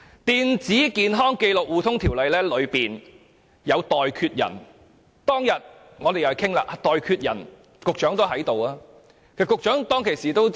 《電子健康紀錄互通系統條例》中訂有"代決人"，當天討論"代決人"時，局長也在席。